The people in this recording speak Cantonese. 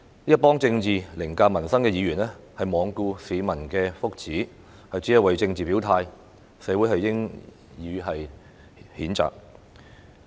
一群以政治凌駕民生的議員罔顧市民的福祉，只為政治表態，社會應予以譴責。